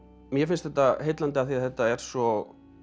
mér finnst þetta heillandi af því þetta er svo